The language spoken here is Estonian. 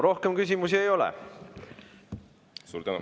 Rohkem küsimusi ei ole.